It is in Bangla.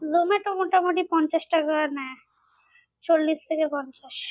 জোমাটো মোটামুটি পঞ্চাশ টাকা নেয় চল্লিশ থেকে পঞ্চাশ